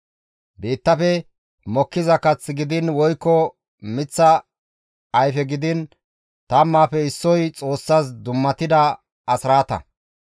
« ‹Biittafe mokkiza kath gidiin woykko miththa ayfe gidiin tammaafe issoy Xoossas dummatida asraata.